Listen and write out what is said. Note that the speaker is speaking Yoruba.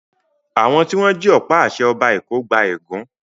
Àwọn tí wọ́n jí ọ̀pá-àṣẹ Ọba Èkó gba ègún.